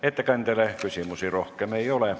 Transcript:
Ettekandjale küsimusi rohkem ei ole.